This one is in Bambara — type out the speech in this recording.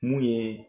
Mun ye